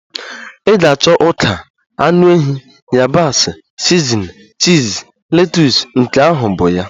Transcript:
Ị ga-achọ ọka, anụ ehi, yabasị, sizinin, chiz, letus, nke ahụ bụ ya.